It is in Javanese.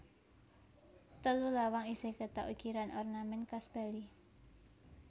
Telu lawang isih kétok ukiran ornamèn khas Bali